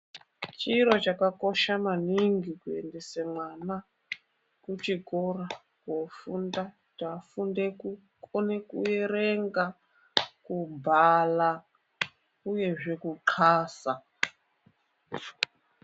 Chiro chakakosha maningi kuendese mwana kuchikora koofunda. Kuti afunde kukone kuerenga, kubhala uyezve kuxasa.